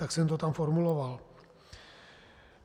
Tak jsem to tam formuloval.